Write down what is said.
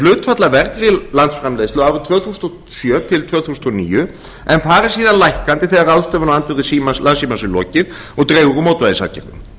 hlutfall af vergri landsframleiðslu árin tvö þúsund og sjö til tvö þúsund og níu en fari síðan lækkandi þegar ráðstöfun á söluandvirði landssímans er lokið og dregur úr mótvægisaðgerðum